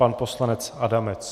Pan poslanec Adamec.